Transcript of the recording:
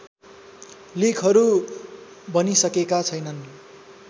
लेखहरू बनिसकेका छैनन्